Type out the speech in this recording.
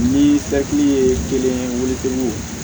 Ni daki ye kelen weele